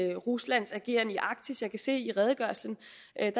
i ruslands ageren i arktis jeg kan se i redegørelsen